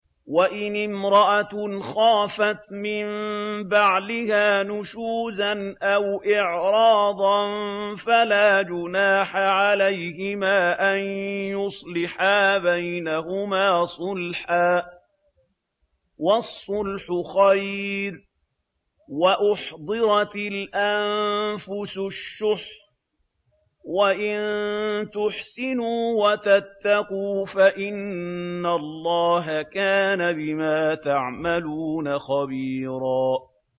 وَإِنِ امْرَأَةٌ خَافَتْ مِن بَعْلِهَا نُشُوزًا أَوْ إِعْرَاضًا فَلَا جُنَاحَ عَلَيْهِمَا أَن يُصْلِحَا بَيْنَهُمَا صُلْحًا ۚ وَالصُّلْحُ خَيْرٌ ۗ وَأُحْضِرَتِ الْأَنفُسُ الشُّحَّ ۚ وَإِن تُحْسِنُوا وَتَتَّقُوا فَإِنَّ اللَّهَ كَانَ بِمَا تَعْمَلُونَ خَبِيرًا